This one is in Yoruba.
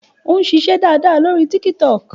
Ó ń ṣiṣẹ́ dáadáa lórí Tiktok.